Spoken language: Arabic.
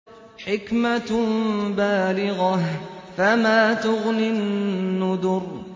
حِكْمَةٌ بَالِغَةٌ ۖ فَمَا تُغْنِ النُّذُرُ